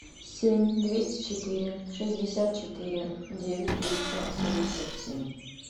семь двести четыре шестьдесят четыре девять триста семьдесят семь